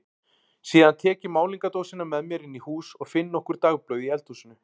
Síðan tek ég málningardósina með mér inn í hús og finn nokkur dagblöð í eldhúsinu.